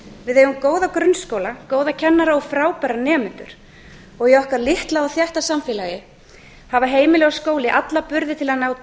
við eigum góða grunnskóla góða kennara og frábæra nemendur í okkar litla og þétta samfélagi hafa heimili og skóli alla burði til að ná